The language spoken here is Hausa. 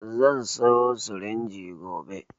Zan sayo sirinji gobe